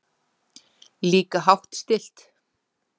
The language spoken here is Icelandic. Líka hátt stillt.